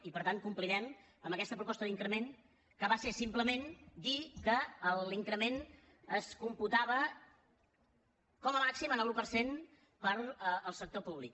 i per tant complirem amb aquesta proposta d’increment que va ser simplement dir que l’increment es computava com a màxim en l’un per cent per al sector públic